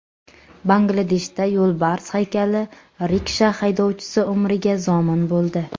Bangladeshda yo‘lbars haykali riksha haydovchisi umriga zomin bo‘ldi.